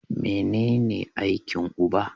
Mene ne aikin uba?